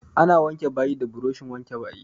Ana wanke bayi da buroshin wanke bayi.